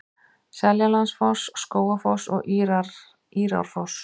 Seljalandsfoss, Skógafoss og Írárfoss.